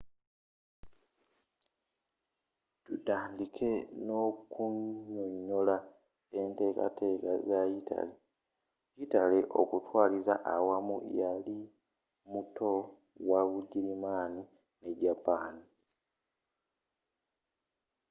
tutandike n’okunyonyola enteekateeka za yitale. yitale okutwaliza awamu yali muto wa bugirimani ne japaani.